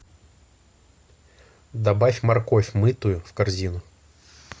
добавь морковь мытую в корзину